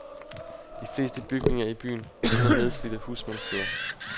De fleste bygninger i byen ligner nedslidte husmandssteder.